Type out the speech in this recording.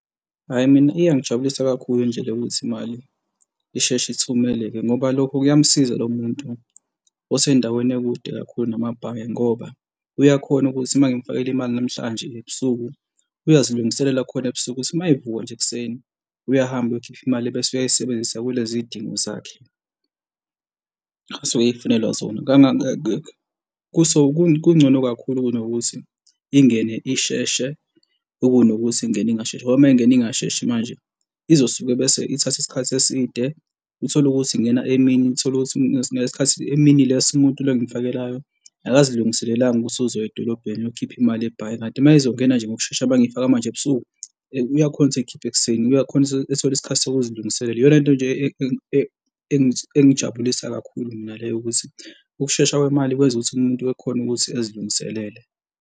Hhayi, mina iyangijabulisa kakhulu nje le yokuthi imali isheshe ithumeleke, ngoba lokho kuyamusiza lo muntu osendaweni ekude kakhulu namabhange ngoba uyakhona ukuthi uma ngimufakele imali namhlanje ebusuku uyazilungisela khona ebusuku ukuthi uma evuka nje ekuseni uyahamba, uyokhipha imali ebese uyayisebenzisa kulezi y'dingo zakhe asuke eyifunela zona. So kungcono kakhulu kunokuthi ingene isheshe ukunokuthi ingene ingasheshi ngoba uma ingena ingasheshi manje izosuke bese ithatha isikhathi eside, uthole ukuthi ingena emini uthole ukuthi ngale sikhathi emini lesi umuntu lo engimfakelayo, akazilungiselelanga ukuthi uzoya edolobheni eyokhipha imali ebhange, kanti uma izongena nje ngokushesha uma ngiyifaka manje ebusuku uyakhona ukuthi eyikhiphe ekuseni, uyakhona ukuthi ethole isikhathi sokuzilungiselela. Iyona into nje eyangijabulisa kakhulu mina leyo ukuthi ukushesha kwemali kwenza ukuthi umuntu ekhone ukuthi ezilungiselele.